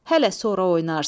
hələ sonra oynarsan.